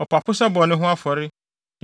ɔpapo sɛ bɔne ho afɔre;